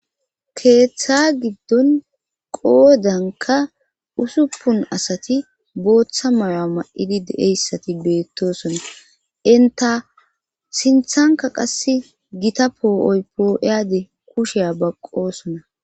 Keeththa giddon qoodanka usuppun asati booththa mayo.a ma7idi deeyssati beettosonta inta sinthanka qass gita poo7oypoo eyade kusheya baqqosona.